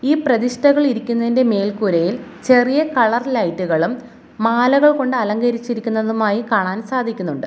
ഈ പ്രതിഷ്ഠകൾ ഇരിക്കുന്നതിന്റെ മേൽക്കൂരയിൽ ചെറിയ കളർ ലൈറ്റ്കളും മാലകൾ കൊണ്ട് അലങ്കരിച്ചിരിക്കുന്നതുമായി കാണാൻ സാധിക്കുന്നുണ്ട്.